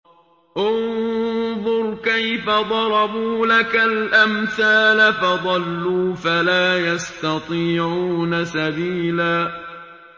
انظُرْ كَيْفَ ضَرَبُوا لَكَ الْأَمْثَالَ فَضَلُّوا فَلَا يَسْتَطِيعُونَ سَبِيلًا